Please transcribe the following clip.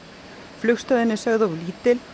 flugstöðin er of lítil